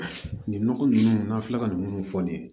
Nin nɔgɔ ninnu n'an filɛ ka nin minnu fɔ nin ye